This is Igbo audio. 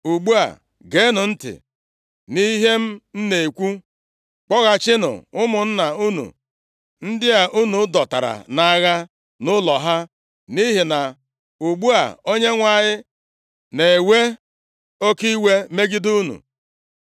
Ugbu a, geenụ ntị nʼihe m na-ekwu. Kpọghachinụ ụmụnna unu ndị a unu dọtara nʼagha nʼụlọ ha, nʼihi na ugbu a Onyenwe anyị na-ewe oke iwe megide unu.”